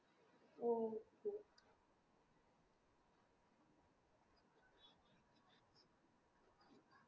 ആഹ് എനിക്ക് ഒരു ഉം എന്താ പറയാ അതിന്റെ interest റേറ്റ് എങ്ങനെയാണ് എന്ന് എനിക്ക് അറിയണം അതിന്